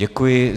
Děkuji.